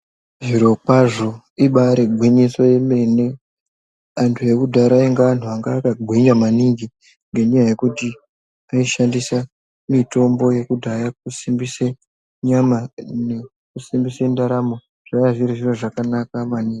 Zviro kwazvo ibari gwinyiso yemene anhu ekudhara ainge anhu anga akagwinya maningi nenyaya yekuti aishandisa mutombo yekudhaya kusimbise nyama nekusimbise ndaramo zvaiya zviri zviro zvakanaka maningi.